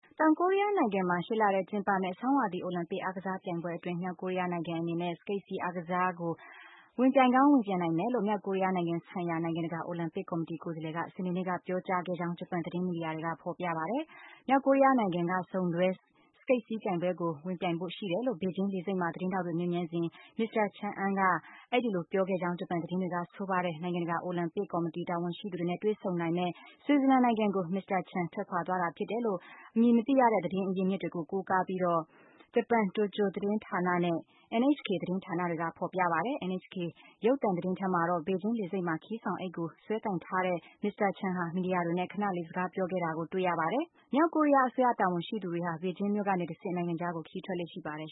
တောင်ကိုရီးယားနိုင်ငံမှာ ရှေ့လထဲ ကျင်းပမယ့် ဆောင်းရာသီ အိုလံပစ် အားကစားပြိုင်ပွဲအတွင်း မြောက်ကိုရီးယားနိုင်ငံ အနေနဲ့ စကိတ်စီး အားစားကို ဝင်ပြိုင်ကောင်း ဝင်ပြိုင်နိုင်မယ်လို့ မြောက်ကိုရီးယားနိုင်ငံဆိုင်ရာ နိုင်ငံတကာ အိုလံပစ် ကော်မတီ ကိုယ်စားလှယ်က စနေနေ့ကပြောကြားခဲ့ကြောင်း ဂျပန် သတင်းမီဒီယာတွေက ဖော်ပြပါတယ်။ မြောက်ကိုရီးယားနိုင်ငံက စုံတွဲ စကိတ်စီးပြိုင်ပွဲကို ဝင်ပြိုင်ဖို့ရှိတယ်လို့ ဘေဂျင်း လေဆိပ်မှာ သတင်းထောက်တွေမေးမြန်းစဉ် မစ္စတာ Chang Ung က အဲဒီလို ပြောခဲ့ကြောင်း ဂျပန်သတင်းတွေက ဆိုပါတယ်။ နိုင်ငံတကာ အိုလံပစ် ကော်မတီ တာဝန်ရှိသူတွေနဲ့ တွေ့ဆုံနိုင်မယ့် Switzerland နိုင်ငံကို မစ္စတာ Chang ထွက်ခွာသွားတာဖြစ်တယ်လို့ အမည်မသိတဲ့ သတင်းအရင်းအမြစ်တွေကို ကိုးကားပြီးတော့ ဂျပန် ဂျိုဒို သတင်းဌာနနဲ့ NHK သတင်းဌာနတွေက ဖော်ပြကြပါတယ်။ NHK ရုပ်သံသတင်းထဲမှာတော့ ဘေဂျင်း လေဆိပ်မှာ ခရီးဆောင်အိတ်ကို စွဲကိုင်ထားတဲ့ မစ္စတာ Chang ဟာ မီဒီယာတွေနဲ့ ခဏလေး စကားပြောခဲ့တာကိုတွေ့ခဲ့ရပါတယ်။ မြောက်ကိုရီးယား အစိုးရတာဝန်ရှိသူတွေဟာ ဘေဂျင်းမြို့ကနေတဆင့် နိုင်ငံခြားကို ခရီးထွက်ခွာလေ့ရှိပါတယ်